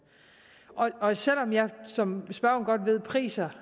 og selv om jeg som spørgeren godt ved priser